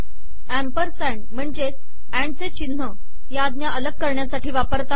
ampersand महणजेच and चे िचनह या आजा अलग करणयासाठी वापरतात